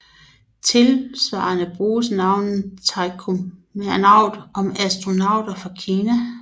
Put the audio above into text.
Tilsvarende bruges navnet taikonaut om astronauter fra Kina